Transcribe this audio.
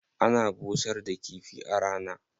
Ana busar da kifi a rana.